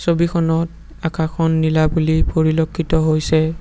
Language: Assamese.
ছবিখনত আকাশখন নীলা বুলি পৰিলক্ষিত হৈছে।